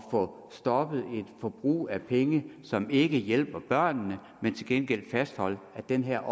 får stoppet et forbrug af penge som ikke som hjælper børnene men til gengæld fastholder at det her er